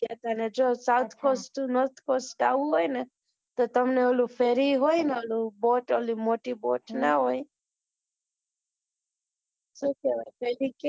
ગયા હતા ને જો south cost north cost જવું હોય ને તો તમને ઓલું ફેરી હોય ને boat ઓલી મોટી boat કેવાય ને ફેરી હોય ને ફેરી